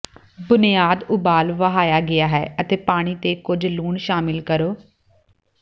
ਬੁਨਿਆਦ ਉਬਾਲ ਵਹਾਇਆ ਗਿਆ ਹੈ ਅਤੇ ਪਾਣੀ ਤੇ ਕੁਝ ਲੂਣ ਸ਼ਾਮਿਲ ਕਰੋ